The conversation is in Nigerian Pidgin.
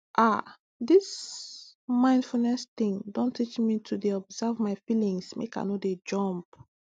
ah this mindfulness thing don teach me to dey observe my feelings make i no dey jump